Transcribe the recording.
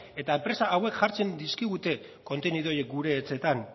eta enpresa hauek jartzen dizkigute kontenidu horiek gure etxeetan